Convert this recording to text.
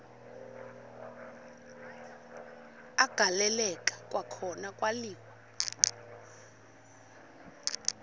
agaleleka kwakhona kwaliwa